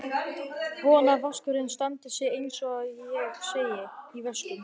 Vona að vaskurinn standi sig en eins og ég segi: í vöskum.